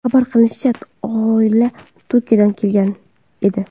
Xabar qilinishicha, oila Turkiyadan kelgan edi.